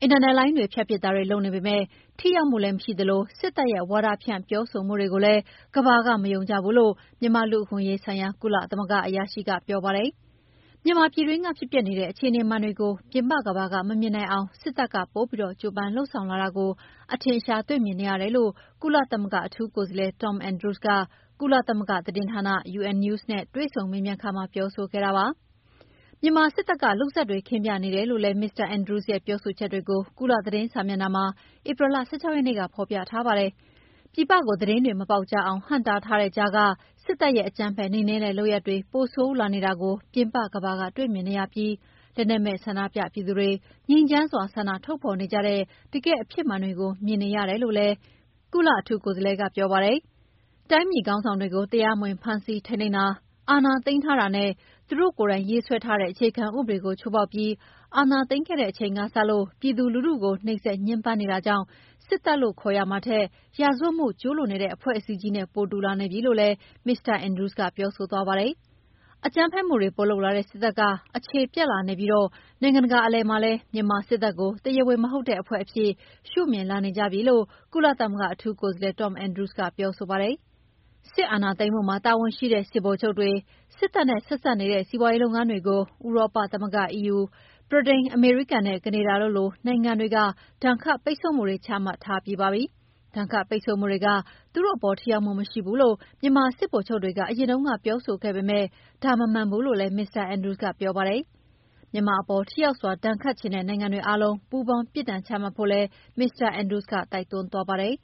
အင်တာနက်လိုင်းတွေဖြတ်ပစ်တာတွေလုပ်နေပေမယ့် ထိရောက်မှုလည်းမရှိသလို စစ်တပ်ရဲ့ ဝါဒဖြန့်ပြောဆိုမှုတွေကိုလည်း ကမ္ဘာက မယုံကြဘူးလို့ မြန်မာ့လူ့အခွင့်အရေးဆိုင်ရာ ကုလသမဂ္ဂအရာရှိက ပြောပါတယ်။ မြန်မာ ပြည်တွင်းကဖြစ်ပျက်နေတဲ့ အခြေအနေမှန်တွေကို ပြင်ပကမ္ဘာက မမြင်နိုင်အောင် စစ်တပ်က ပိုပြီး ကြိုးပမ်းလုပ်ဆောင်လာတာကို အထင်အရှားတွေ့မြင်နေရတယ်လို့ ကုလသမဂ္ဂအထူးကိုယ်စားလှယ် Tom Andrews က ကုလသမဂ္ဂသတင်းဌာန UN News နဲ့ တွေ့ဆုံမေးမြန်းခန်းမှာ ပြောဆိုခဲ့တာပါ။ မြန်မာစစ်တပ်က လုပ်ဇာတ်တွေခင်းပြနေတယ်လို့လည်း Mr Andrews ရဲ့ပြောဆိုချက်တွေကို ကုလသတင်းစာမျက်နှာမှာ ဧပြီလ ၁၆ ရက်နေ့က ဖော်ပြထားပါတယ်။ ပြည်ပကို သတင်းတွေမပေါက်ကြားအောင် ဟန့်တားထားတဲ့ကြားက စစ်တပ်ရဲ့ အကြမ်းဖက်နှိမ်နှင်းတဲ့လုပ်ရပ်တွေ ပိုဆိုးလာနေတာကို ပြင်ပကမ္ဘာက တွေ့မြင်နေရပြီး လက်နက်မဲ့ဆန္ဒပြသူတွေက ငြိမ်းချမ်းစွာဆန္ဒထုတ်ဖော်နေကြတဲ့ တကယ့်အဖြစ်မှန်တွေကို မြင်နေရတယ်လို့လည်း ကုလအထူးကိုယ်စားလှယ်ကပြောပါတယ်။ တိုင်းပြည်ခေါင်းဆောင်တွေကို တရားမဝင်ဖမ်းဆီးထိန်းသိမ်းတာ၊ အာဏာသိမ်းထားတာနဲ့ သူတို့ကိုယ်တိုင်ရေးဆွဲထားတဲ့ အခြေခံဥပဒေကိုချိုးဖောက်ပြီး အာဏာသိမ်းခဲ့တဲ့အချိန်ကစလု့ိ ပြည်သူလူထုကို နှိမ်စက်ညှဉ်းပန်းနေတာကြောင့် စစ်တပ်လို့ခေါ်ရမှာထက် ရာဇဝတ်မှုကျုးလွန်နေတဲ့ အဖွဲ့အစည်းကြီး နဲ့ပိုတူလာနေပြီလို့လည်း မစ္စတာ Andrews ကပြောဆိုသွားပါတယ်။ အကြမ်းဖက်မှုတွေပိုလုပ်လာတဲ့စစ်တပ်က အခြေပျက်လာနေပြီး နိုင်ငံတကာကအလယ်မှာလည်း မြန်မာစစ်တပ်ကို တရားဝင်မဟုတ်တဲ့ အဖွဲ့အဖြစ်ရှုမြင်လာနေကြပြီလို့ ကုလသမဂ္ဂအထူးကိုယ်စားလှယ် Tom Andrews ကပြောဆိုပါတယ်။ စစ်အာဏာသိမ်းမှုမှာတာဝန်ရှိတဲ့ စစ်ဗိုလ်ချုပ်တွေ၊ စစ်တပ်နဲ့ ဆက်စပ်နေတဲ့စီးပွားရေးလုပ်ငန်းတွေကို ဥရောပသမဂ္ဂ EU၊ ဗြိတိန်၊ အမေရိကန်နဲ့ကနေဒါတို့လို့နိုင်ငံတွေက ဒဏ်ခတ်ပိတ်ဆို့မှုတွေ ချမှတ်ထားတာပါ။ ဒဏ်ခတ်ပိတ်ဆို့မှုတွေက သူတို့အပေါ်ထိရောက်မှုမရှိဘူးလို့ မြန်မာစစ်ဗိုလ်ချုပ်တွေက အရင်တုန်းက ပြောဆိုခဲ့ပေမယ့် ဒါမမှန်ဘူးလို့လည်း မစ္စတာ Andrews ကပြောပါတယ်။ မြန်မာအပေါ် ထိရောက်စွာ ဒဏ်ခတ်ချင်တဲ့နိုင်ငံတွေအားလုံး ပူးပေါင်း ပြစ်ဒဏ်ချမှတ်ဖို့လည်း မစ္စတာ Andrews ကတိုက်တွန်းသွားပါတယ်